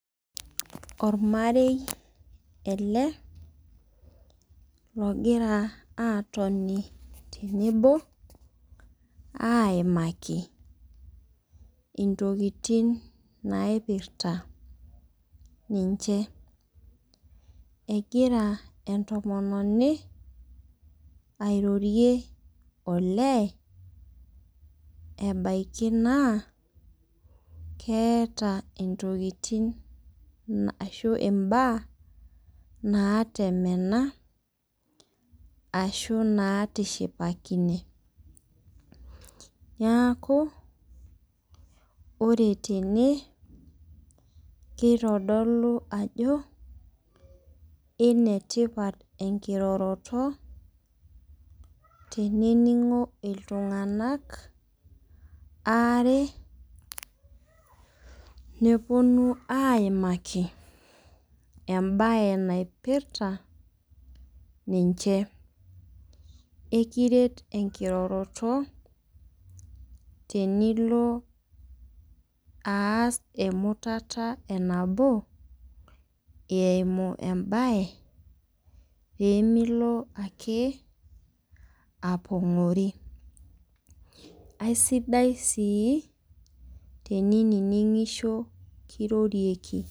Oramarei ele logira aatoni tenebo aimaki intokitin naipirta ninche. Egira entomononi airorie olee, ebaiki naa keata intokitin ashu imbaa naatemena ashu natishipakine. Neaku ore tene, keitodolu ajo enetipat enkiroroto tenening'o iltung'ana aare nepuonu aiaki, embaye naipirta ninche. Ekiret enkiroroto tenilo aas emutata e nabo eimu embaye peemilo ake apongori. Aisidai sii tenining'isho tenekirorieki.